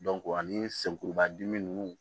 ani senkuruba dimi ninnu